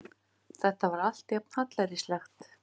Þetta var allt jafn hallærislegt.